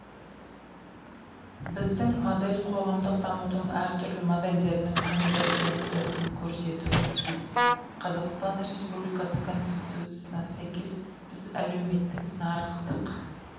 біздің модель қоғамдық дамудың әртүрлі моделдерінің конвергенциясын көрсетуі тиіс қазақстан республикасы конституциясына сәйкес біз әлеуметтік нарықтық